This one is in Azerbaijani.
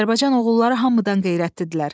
Azərbaycan oğulları hamıdan qeyrətlidirlər.